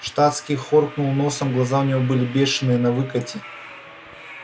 штатский хоркнул носом глаза у него были бешеные навыкате